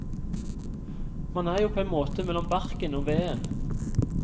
Man er jo på en måte mellom barken og veden.